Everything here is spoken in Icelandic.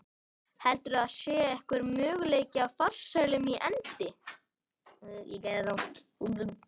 Heldurðu að það sé einhver möguleiki á farsælum endi?